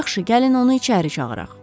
Yaxşı, gəlin onu içəri çağıraq.